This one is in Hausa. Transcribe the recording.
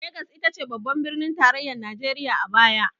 Lagos ita ce babban birnin tarayyar najeriya a baya.